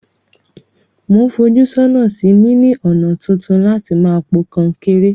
Mo n fojú sónà sí níní ònà tuntun láti ma po kankéré